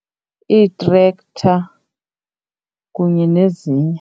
Ii-tractor kunye nezinye.